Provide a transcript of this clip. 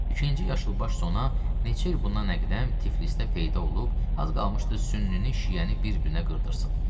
İkinci yaşılbaş sona neçə il bundan əqdəm Tiflisdə peyda olub, az qalmışdı sünnini, şiəni bir-birinə qırdırsın.